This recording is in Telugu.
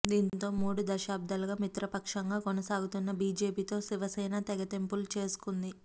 దీంతో మూడు దశాబ్దాలుగా మిత్రపక్షంగా కొనసాగుతున్న బిజెపితో శివసేన తెగతెంపులు చేసుకుంది